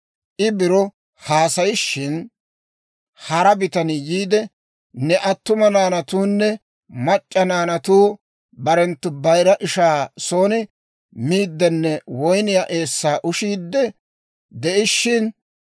I biro haasayishin, hara bitanii yiide, «Ne attuma naanatuunne mac'c'a naanatuu barenttu bayira ishaa son miiddenne woyniyaa eessaa ushiidde de'ishiina,